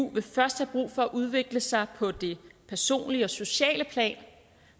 vil først have brug for at udvikle sig på det personlige og sociale plan